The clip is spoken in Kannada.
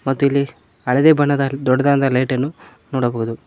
ಮತ್ತು ಇಲ್ಲಿ ಹಳದಿ ಬಣ್ಣದ ದೊಡ್ಡದಾದ ಲೈಟನ್ನು ನೋಡಬಹುದು.